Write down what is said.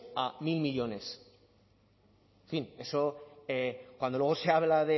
a mil millónes en fin eso cuando luego se habla